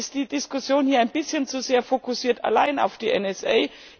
Mir ist die Diskussion hier ein bisschen zu sehr fokussiert alleine auf die NSA.